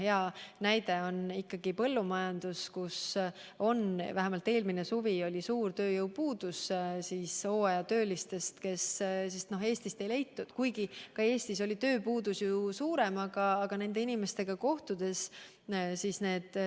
Hea näide on põllumajandus, kus vähemalt eelmisel suvel oli suur puudus hooajatöölistest, keda Eestist ei leitud, hoolimata sellest, et ka Eestis oli sel ajal tööpuudus suurem.